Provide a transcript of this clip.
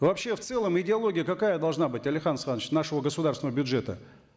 вообще в целом идеология какая должна быть алихан асханович нашего государственного бюджета